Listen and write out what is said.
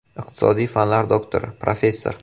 Iqtisodiy fanlar doktori, professor.